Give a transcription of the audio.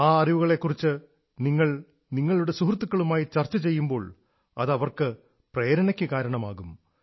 ആ അറിവുകളെക്കുറിച്ച് നിങ്ങൾ നിങ്ങളുടെ സുഹൃത്തുക്കളുമായി ചർച്ച ചെയ്യുമ്പോൾ അതവർക്കും പ്രേരണയ്ക്കു കാരണമാകും